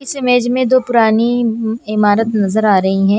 इस इमेज में दो पुरानी इमारत नजर आ रही हैं।